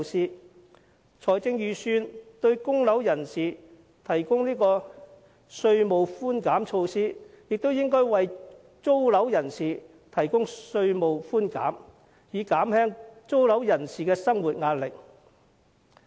既然財政預算案為供樓人士提供稅務寬減措施，也應為租樓人士提供稅務寬減，以減輕租樓人士的生活壓力。